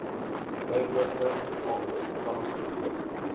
tydelike ont vangsgebiede